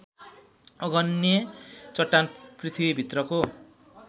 आग्नेय चट्टान पृथ्वीभित्रको